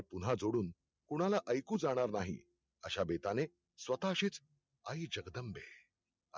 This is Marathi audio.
पुन्हा जोडून कुणाला ऐकू जाणार नाही. अशाबेताने स्वतःशीच आई जगदंबे